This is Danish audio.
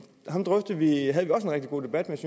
rigtig god debat